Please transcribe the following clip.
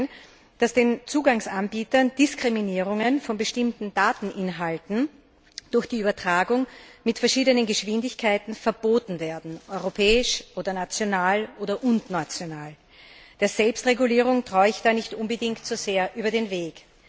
muss es sein, dass den Zugangsanbietern Diskriminierungen von bestimmten Dateninhalten durch die Übertragung mit verschiedenen Geschwindigkeiten verboten werden europäisch und oder national. Der Selbstregulierung traue ich da nicht unbedingt so sehr über den Weg.